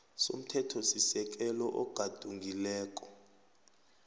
somthethosisekelo ogadungileko